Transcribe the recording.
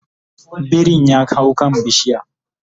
birin ya hau kan bishiya